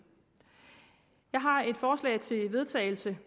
jeg har et forslag til vedtagelse